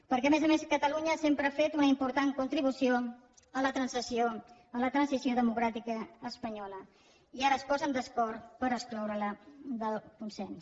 perquè a més a més catalunya sempre ha fet una important contribució a la transició democràtica espanyola i ara es posen d’acord per excloure la del consens